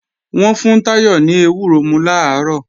Wọ́n fún Táyọ̀ ní ewúro mú làárọ̀